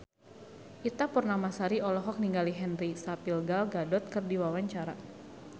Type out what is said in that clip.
Ita Purnamasari olohok ningali Henry Cavill Gal Gadot keur diwawancara